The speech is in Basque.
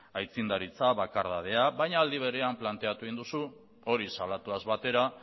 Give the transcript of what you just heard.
aitzindaritza bakardadea baina aldi berean planteatu egin duzu hori salatuaz batera